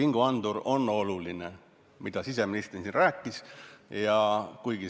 Nagu ka siseminister rääkis, tegelikult vingugaasiandur on väga oluline.